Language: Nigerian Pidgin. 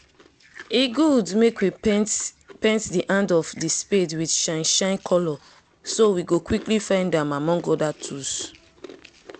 e good make we paint paint the hand of the spade with shine shine color so we go quickly find am among other tools